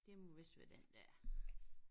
Det må vist være den dér